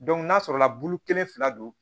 n'a sɔrɔla bulu kelen fila don